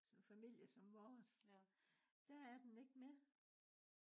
sådan en familie som vores der er den ikke mere